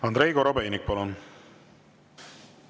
Andrei Korobeinik, palun!